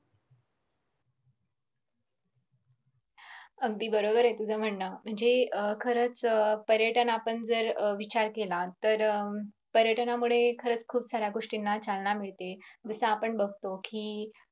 अगदी बरोबर आहे तुझं म्हणणं म्हणजे अं खरच पर्यटन आपण जर विचार केला तर पर्यटनामुळे खरच खूप साऱ्या गोष्टीना चालना मिळते जस आपण बगतो की